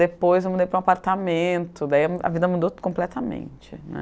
Depois eu mudei para um apartamento, daí a vida mudou completamente, né?